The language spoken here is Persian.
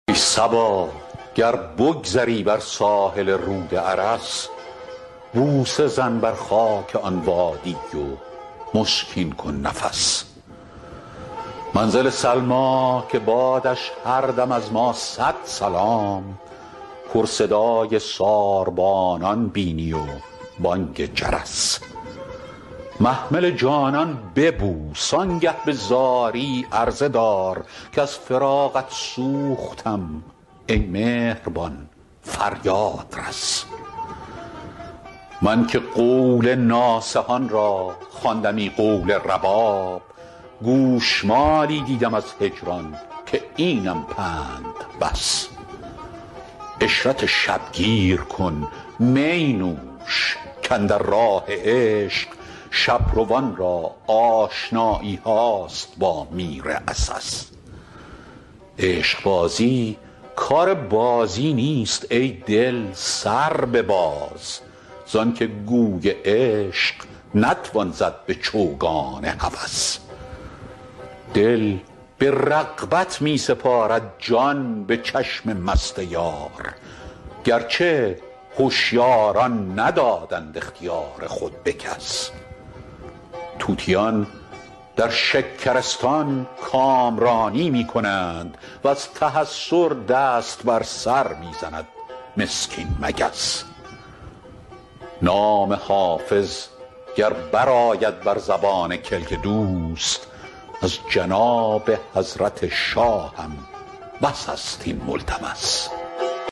ای صبا گر بگذری بر ساحل رود ارس بوسه زن بر خاک آن وادی و مشکین کن نفس منزل سلمی که بادش هر دم از ما صد سلام پر صدای ساربانان بینی و بانگ جرس محمل جانان ببوس آن گه به زاری عرضه دار کز فراقت سوختم ای مهربان فریاد رس من که قول ناصحان را خواندمی قول رباب گوش مالی دیدم از هجران که اینم پند بس عشرت شب گیر کن می نوش کاندر راه عشق شب روان را آشنایی هاست با میر عسس عشق بازی کار بازی نیست ای دل سر بباز زان که گوی عشق نتوان زد به چوگان هوس دل به رغبت می سپارد جان به چشم مست یار گر چه هشیاران ندادند اختیار خود به کس طوطیان در شکرستان کامرانی می کنند و از تحسر دست بر سر می زند مسکین مگس نام حافظ گر برآید بر زبان کلک دوست از جناب حضرت شاهم بس است این ملتمس